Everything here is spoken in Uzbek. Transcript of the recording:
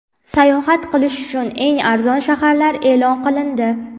Sayohat qilish uchun eng arzon shaharlar e’lon qilindi.